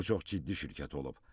Bu çox ciddi şirkət olub.